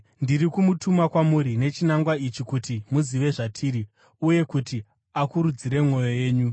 Ndiri kumutuma kwamuri nechinangwa ichi kuti muzive zvatiri uye kuti akurudzire mwoyo yenyu.